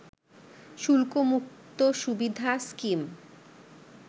শুল্কমুক্ত সুবিধা স্কিম